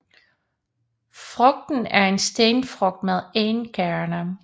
Frugten er en stenfrugt med én kerne